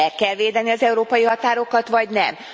Meg kell védeni az európai határokat vagy nem?